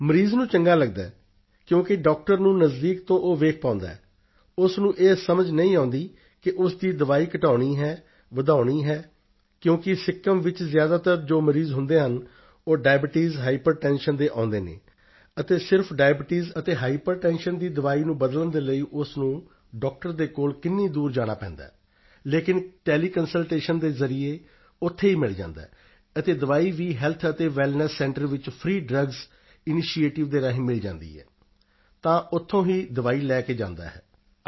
ਮਰੀਜ਼ ਨੂੰ ਚੰਗਾ ਲਗਦਾ ਹੈ ਕਿਉਂਕਿ ਡਾਕਟਰ ਨੂੰ ਨਜ਼ਦੀਕ ਤੋਂ ਉਹ ਵੇਖ ਪਾਉਂਦਾ ਹੈ ਉਸ ਨੂੰ ਇਹ ਸਮਝ ਨਹੀਂ ਆਉਂਦੀ ਕਿ ਉਸ ਦੀ ਦਵਾਈ ਘਟਾਉਣੀ ਹੈ ਵਧਾਉਣੀ ਹੈ ਕਿਉਂਕਿ ਸਿੱਕਿਮ ਵਿੱਚ ਜ਼ਿਆਦਾਤਰ ਜੋ ਮਰੀਜ਼ ਹੁੰਦੇ ਹਨ ਉਹ ਡਾਇਬਟੀਸ ਹਾਈਪਰਟੈਂਸ਼ਨ ਦੇ ਆਉਂਦੇ ਹਨ ਅਤੇ ਸਿਰਫ਼ ਡਾਇਬਟੀਸ ਅਤੇ ਹਾਈਪਰਟੈਂਸ਼ਨ ਦੀ ਦਵਾਈ ਨੂੰ ਬਦਲਣ ਦੇ ਲਈ ਉਸ ਨੂੰ ਡਾਕਟਰ ਦੇ ਕੋਲ ਕਿੰਨੀ ਦੂਰ ਜਾਣਾ ਪੈਂਦਾ ਹੈ ਲੇਕਿਨ ਟੈਲੀਕੰਸਲਟੇਸ਼ਨ ਦੇ ਜ਼ਰੀਏ ਉੱਥੇ ਹੀ ਮਿਲ ਜਾਂਦਾ ਹੈ ਅਤੇ ਦਵਾਈ ਵੀ ਹੈਲਥ ਅਤੇ ਵੈੱਲਨੈੱਸ ਸੈਂਟਰ ਵਿੱਚ ਫਰੀ ਡਰੱਗਜ਼ ਇਨੀਸ਼ਿਏਟਿਵ ਦੇ ਰਾਹੀਂ ਮਿਲ ਜਾਂਦੀ ਹੈ ਤਾਂ ਉੱਥੋਂ ਹੀ ਦਵਾਈ ਲੈ ਕੇ ਜਾਂਦਾ ਹੈ ਉਹ